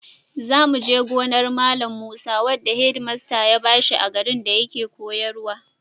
Za mu je gonar Malam Musa wadda hedimasta ya ba shi a garin da yake koyarwa.